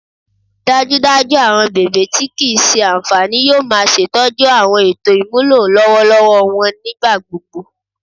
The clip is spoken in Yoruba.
dajudaju awọn bèbe ti kii ṣe anfani yoo ma ṣetọju awọn eto imulo lọwọlọwọ wọn nigbagbogbo